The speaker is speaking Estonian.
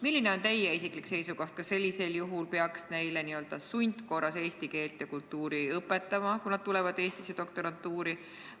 Milline on teie isiklik seisukoht: kas neile peaks sundkorras eesti keelt ja kultuuri õpetama, kui nad tulevad Eestisse doktorantuuri?